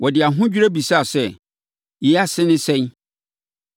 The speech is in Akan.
Wɔde ahodwirie bisaa sɛ, “Yei ase ne sɛn?”